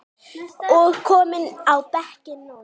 og kominn á bekkinn núna?